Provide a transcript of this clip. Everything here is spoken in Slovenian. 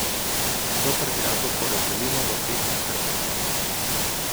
Vso prtljago porazdelimo v pet nahrbtnikov.